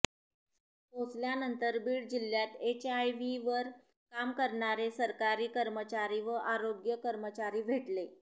पोहचल्यानंतर बीड जिल्ह्यात एचआयव्हीवर काम करणारे सरकारी कर्मचारी व आरोग्य कर्मचारी भेटले